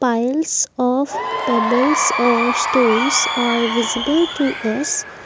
files of pebbles are stones are visible to us.